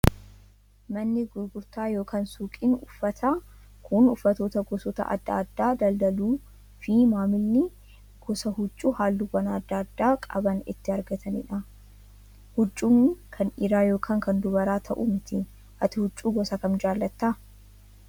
Manni gurgurtaa yookaan suuqiin uffataa kan uffatoota gosoota adda addaa daldaluu fi maamilli gosa huccuu halluuwwan adda addaa qaban itti argatanidha. Huccuun kan dhiiraa yookaan kan dubaraa ta'uu malu. Ati huccuu gosa kam jaalatta?